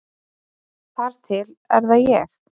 Þar til er það ég.